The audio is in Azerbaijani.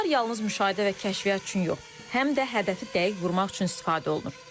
Onlar yalnız müşahidə və kəşfiyyat üçün yox, həm də hədəfi dəqiq vurmaq üçün istifadə olunur.